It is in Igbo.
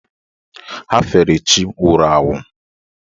Ha fere chi nwụrụ anwụ.